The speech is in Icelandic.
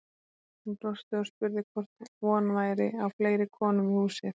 Hún brosti og spurði hvort von væri á fleiri konum í húsið.